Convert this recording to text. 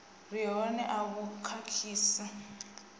re hone a vhu khakhisi